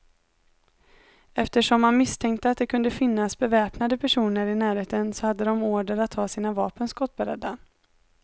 Eftersom man misstänkte att det kunde finnas beväpnade personer i närheten, så hade de order att ha sina vapen skottberedda.